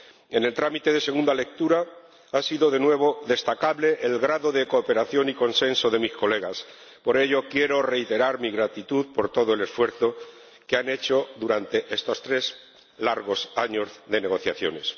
En el trámite de la segunda lectura ha sido de nuevo destacable el grado de cooperación y consenso de mis colegas. Por ello, quiero reiterar mi gratitud por todo el esfuerzo que han hecho durante estos tres largos años de negociaciones.